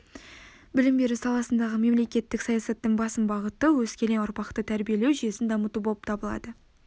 білім беру саласындағы мемлекеттік саясаттың басым бағыты өскелең ұрпақты тәрбиелеу жүйесін дамыту болып табылады